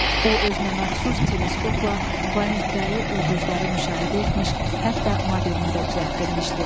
O, özünəməxsus teleskopla planetləri, ulduzları müşahidə etmiş, hətta modelini də düzəltdirmişdi.